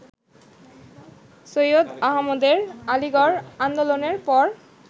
সৈয়দ আহমদের আলীগড় আন্দোলনের পর